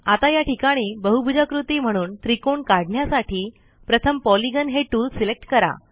आता या ठिकाणी बहुभुजाकृती म्हणून त्रिकोण काढण्यासाठी प्रथम पॉलिगॉन हे टूल सिलेक्ट करा